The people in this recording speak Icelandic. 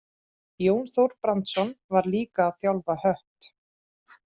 Jón Þór Brandsson var líka að þjálfa Hött.